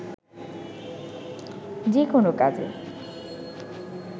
যেকোনো কাজে